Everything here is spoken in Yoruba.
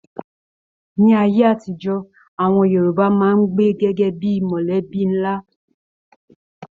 Ní ayé àtijọ́, àwọn Yorùbá máa n gbé gẹgẹ bíi mọlẹbi nlá.